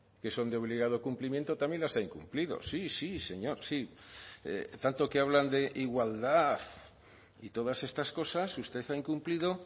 que son de obligado cumplimiento también las ha incumplido sí sí señor sí tanto que hablan de igualdad y todas estas cosas usted ha incumplido